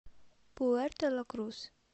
пуэрто ла крус